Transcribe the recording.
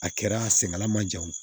A kɛra senŋala ma jan wo